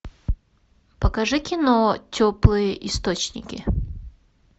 покажи кино теплые источники